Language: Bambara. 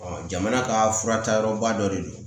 jamana ka fura taayɔrɔba dɔ de don